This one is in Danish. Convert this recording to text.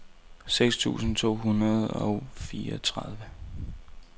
seks tusind to hundrede og fireogtredive